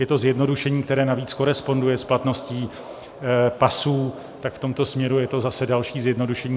Je to zjednodušení, které navíc koresponduje s platností pasů, tak v tomto směru je to zase další zjednodušení.